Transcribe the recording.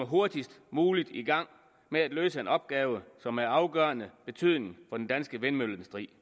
hurtigst muligt komme i gang med at løse en opgave som er af afgørende betydning for den danske vindmølleindustri